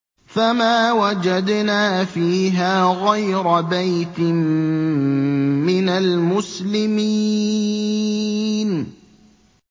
فَمَا وَجَدْنَا فِيهَا غَيْرَ بَيْتٍ مِّنَ الْمُسْلِمِينَ